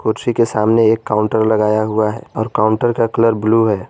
कुर्सी के सामने एक काउंटर लगाया हुआ है और काउंटर का कलर ब्लू है।